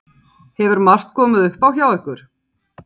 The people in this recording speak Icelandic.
Lillý Valgerður: Hefur margt komið upp á hjá ykkur?